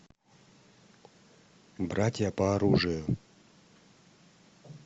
братья по оружию